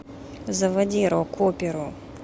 заводи рок оперу